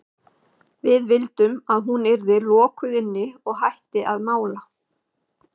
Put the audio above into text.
Við vildum að hún yrði lokuð inni og hætti að mála.